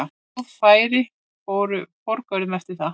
Góð færi fóru forgörðum eftir það.